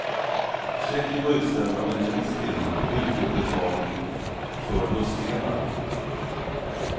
Checken var utställd av en engelsk firma och utgjorde betalning för bussdelar.